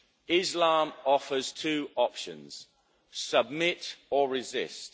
Islam offers two options submit or resist.